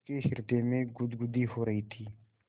उसके हृदय में गुदगुदी हो रही थी